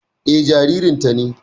Eh, jaririn ta ne